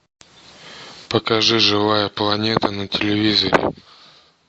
покажи живая планета на телевизоре